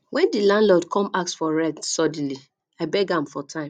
wen di landlord come ask for rent suddenly i beg am for time